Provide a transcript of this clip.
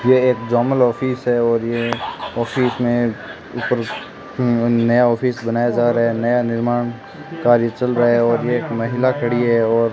यह एक जोमल ऑफिस है और ये ऑफिस में ऊपर नया ऑफिस बनाया जा रहा है नया निर्माण कार्य चल रहा है और एक महिला खड़ी है और --